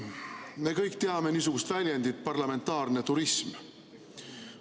Me kõik teame niisugust väljendit nagu "parlamentaarne turism".